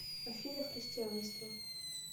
афина христианство